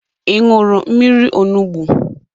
Ị nụrụ mmiri onugbu?